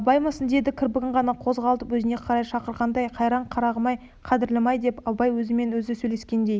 абаймысың деді кірпігін ғана қозғап өзіне қарай шақырғандай қайран қартым-ай қадірлім-ай деп абай өзімен өзі сөйлескендей